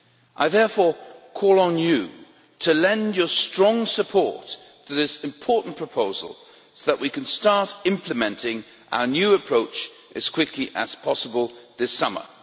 I therefore call on you to lend your strong support to this important proposal so that we can start implementing our new approach as quickly as possible this summer.